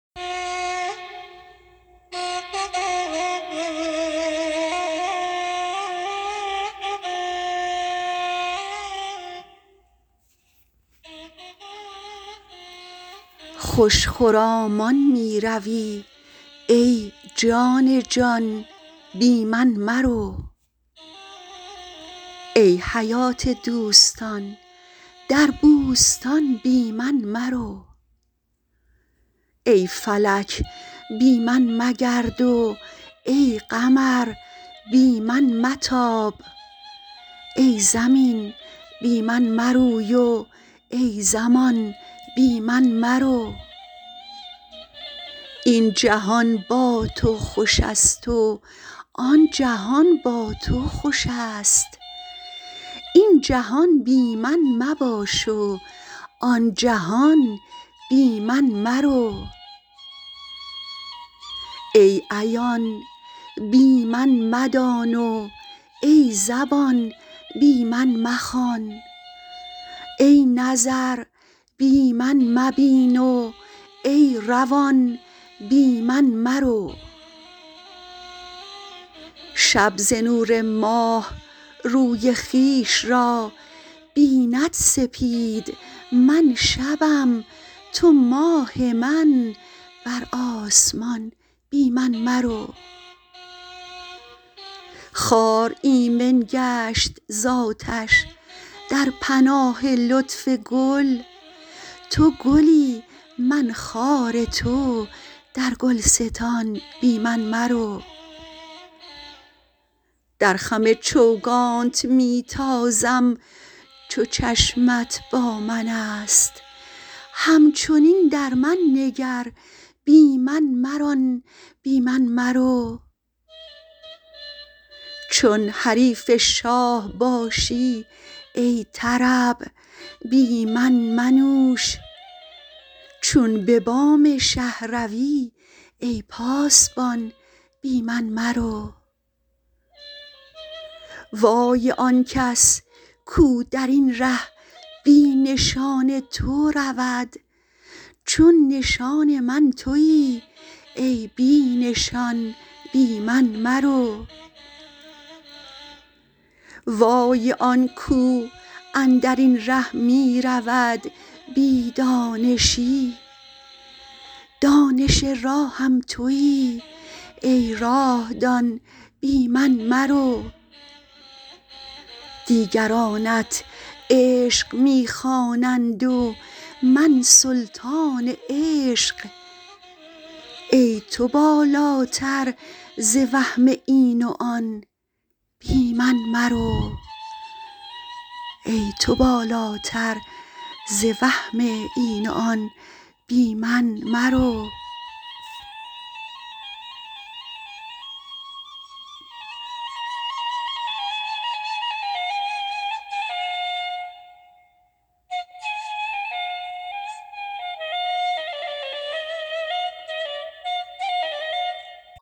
خوش خرامان می روی ای جان جان بی من مرو ای حیات دوستان در بوستان بی من مرو ای فلک بی من مگرد و ای قمر بی من متاب ای زمین بی من مروی و ای زمان بی من مرو این جهان با تو خوش است و آن جهان با تو خوش است این جهان بی من مباش و آن جهان بی من مرو ای عیان بی من مدان و ای زبان بی من مخوان ای نظر بی من مبین و ای روان بی من مرو شب ز نور ماه روی خویش را بیند سپید من شبم تو ماه من بر آسمان بی من مرو خار ایمن گشت ز آتش در پناه لطف گل تو گلی من خار تو در گلستان بی من مرو در خم چوگانت می تازم چو چشمت با من است همچنین در من نگر بی من مران بی من مرو چون حریف شاه باشی ای طرب بی من منوش چون به بام شه روی ای پاسبان بی من مرو وای آن کس کو در این ره بی نشان تو رود چو نشان من توی ای بی نشان بی من مرو وای آن کو اندر این ره می رود بی دانشی دانش راهم توی ای راه دان بی من مرو دیگرانت عشق می خوانند و من سلطان عشق ای تو بالاتر ز وهم این و آن بی من مرو